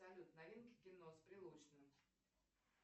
салют новинки кино с прилучным